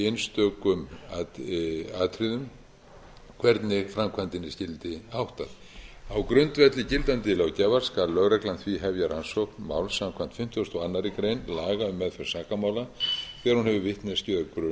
fyrir sig í einstökum atriðum hvernig framkvæmdinni skyldi háttað á grundvelli gildandi löggjafar skal lögreglan því hefja rannsókn máls samkvæmt fimmtugustu og aðra grein laga um meðferð sakamála þegar hún hefur vitneskju eða grun um að verið sé að